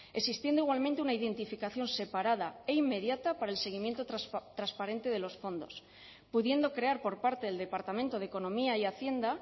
existiendo igualmente una identificación separada e inmediata para el seguimiento transparente de los fondos pudiendo crear por parte del departamento de economía y hacienda